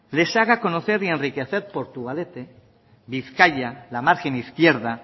les haga conocer y enriquecer portugalete bizkaia la margen izquierda